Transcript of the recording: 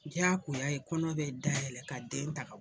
Diyakoya ye kɔnɔ bɛ dayɛlɛ ka den ta ka